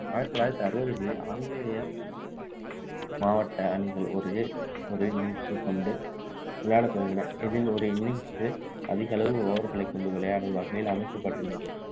ஆயிரத்து தொள்ளாயிரத்து அறுபதுகளில் ஆங்கிலேய மாவட்ட அணிகள் ஒரே ஒரு innings கொண்டு விளையாடத்துவங்கின இதில் ஒரு innings அதிக அளவு over களைக்கொண்டு விளையாடும் வகையில் அமைக்கப்பட்டிருந்தது